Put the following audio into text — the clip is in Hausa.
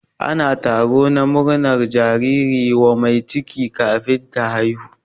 Ana taro na murnar jariri wa mai ciki kafin ta haihu.